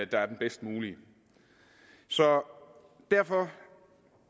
der er den bedst mulige så derfor